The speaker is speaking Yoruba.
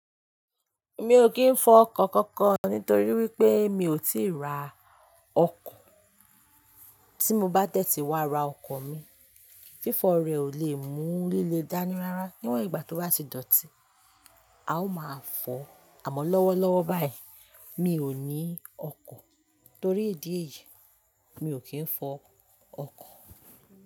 Mi ò kí ń fọ ọkọ kankan nítorí wípé mi ò tíì ra ọkọ̀. Tí mo bá dẹ́tí wa ra ọkọ̀ mi, fífọ rẹ̀ ò le mú líle dání rárá. Níwọ̀n ìgbà tó bá ti dọ̀tí, a ó máa fọ̀, àmọ́ lọ́wọ́lọ́wọ́ báyìí mi ò ní ọkọ̀ torí ìdí èyí mi ò kì ń fọ ọkọ̀